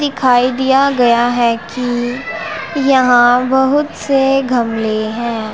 दिखाई दिया गया है कि यहां बहुत से गमले हैं।